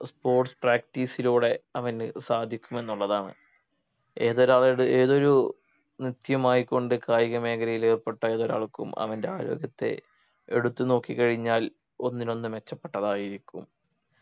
sports practice ലൂടെ അവന് സാധിക്കുമെന്നുള്ളതാണ് ഏതൊരാളുടെ ഏതൊരു നിത്യമായി കൊണ്ട് കായിക മേഖലയിൽ ഏർപ്പെട്ട ഏതൊരാൾക്കും അവൻ്റെ ആരോഗ്യത്തെ എടുത്തു നോക്കി കഴിഞ്ഞാൽ ഒന്നിനൊന്ന് മെച്ചപ്പെട്ടതായിരിക്കും